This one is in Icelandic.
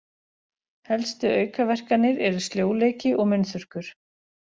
Helstu aukaverkanir eru sljóleiki og munnþurrkur.